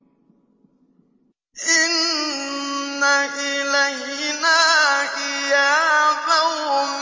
إِنَّ إِلَيْنَا إِيَابَهُمْ